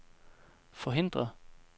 forhindre